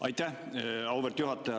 Aitäh, auväärt juhataja!